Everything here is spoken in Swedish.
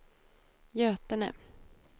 Götene